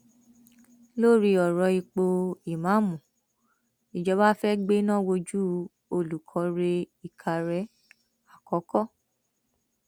lórí ọrọ ipò ìmáàmù ìjọba fẹẹ gbéná wojú olùkórè ìkàrẹ àkọkọ